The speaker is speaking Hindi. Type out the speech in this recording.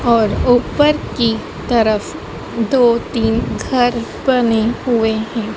और ऊपर की तरफ दो तीन घर बने हुए हैं।